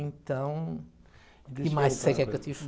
Então, o que mais você quer que eu te